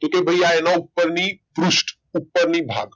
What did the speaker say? તું તું ભઈ આ એના ઉપરની પૃષ્ઠ ઉપર ની ભાગ